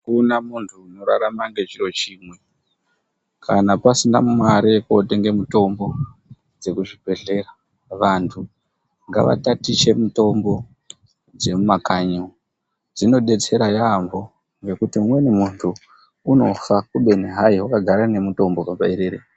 Kuna muntu unorarama ngechiro chimwe kana pasina mare yekotenge mitombo dzekuzvibhedhlera vantu ngavatatiche mitombo dzemumakanyi umo dzinodetsera yaampo ngekuti umweni muntu unofa kubeni gai wakagara nemutombo paberere.